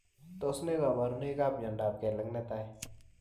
Tos nee kabarunoik ap miondop kelek netai?